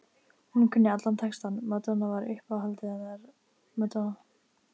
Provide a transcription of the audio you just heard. Hún kunni allan textann, Madonna var uppáhaldið hennar, Madonna